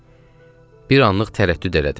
Bir anlıq tərəddüd elədim.